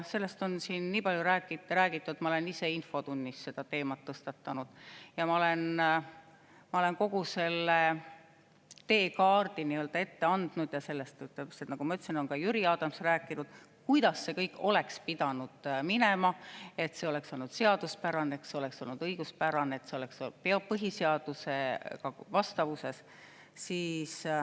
Sellest on siin nii palju räägitud, ma olen ise infotunnis seda teemat tõstatanud, ma olen kogu selle teekaardi ette andnud ja sellest, nagu ma ütlesin, on ka Jüri Adams rääkinud, kuidas see kõik oleks pidanud minema selleks, et see oleks olnud seaduspärane, oleks olnud õiguspärane, oleks olnud põhiseadusega vastavuses.